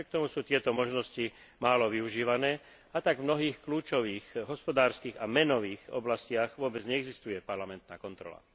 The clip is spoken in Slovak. Napriek tomu sú tieto možnosti málo využívané, a tak v mnohých kľúčových, hospodárskych a menových oblastiach vôbec neexistuje parlamentná kontrola.